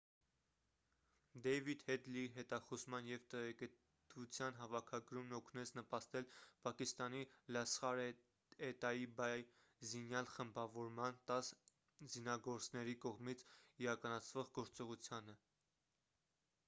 դեյվիդ հեդլիի հետախուզման և տեղեկտվության հավաքագրումն օգնեց նպաստել պակիստանի լասխար-է-տաիբա զինյալ խմբավորման 10 զինագործների կողմից իրականացվող գործողությանը